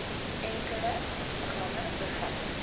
enkele program bevat